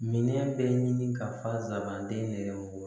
Minɛn bɛɛ ɲini ka fasabanden yɛrɛ mɔgɔ